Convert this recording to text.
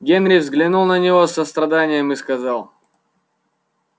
генри взглянул на него с состраданием и сказал